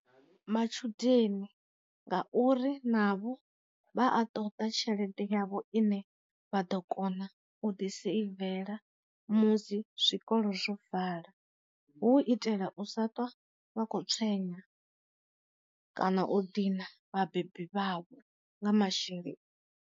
Matshudeni ngauri navho vha a ṱoḓa tshelede yavho ine vha ḓo kona u ḓi seivela musi zwikolo zwo vala, hu u itela u sa ṱwa vha kho tswenya kana u dina vha bebi vhavho nga masheleni.